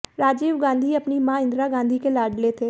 राजीव गांधी अपनी मां इंदिरा गांधी के लाडले थे